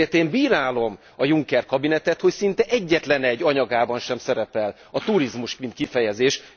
Ezért én bírálom a Juncker kabinetet, hogy szinte egyetlen egy anyagában sem szerepel a turizmus, mint kifejezés.